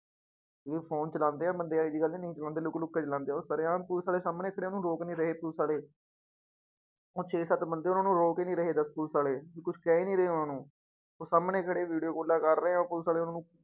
ਵੀ phone ਚਲਾਉਂਦੇ ਆ ਬੰਦੇ ਇਹ ਜਿਹੀ ਗੱਲ ਨੀ ਬੰਦੇ ਲੁੱਕ ਲੁੱਕ ਕੇ ਚਲਾਉਂਦੇ ਆ ਉਹ ਸ਼ਰੇਆਮ ਪੁਲਿਸ ਵਾਲੇ ਸਾਹਮਣੇ ਖੜੇ ਉਹਨੂੰ ਰੋਕ ਨੀ ਰਹੇ ਪੁਲਿਸ ਵਾਲੇ ਉਹ ਛੇ ਸੱਤ ਬੰਦੇ ਉਹਨਾਂ ਨੂੰ ਰੋਕ ਹੀ ਨੀ ਰਹੇ ਦੱਸ ਪੁਲਿਸ ਵਾਲੇ, ਵੀ ਕੁਛ ਕਹਿ ਹੀ ਨੀ ਰਹੇ ਉਹਨਾਂ ਨੂੰ, ਉਹ ਸਾਹਮਣੇ ਖੜੇ video ਕਾਲਾਂ ਕਰ ਰਹੇ ਆ ਪੁਲਿਸ ਵਾਲੇ ਉਹਨਾਂ ਨੂੰ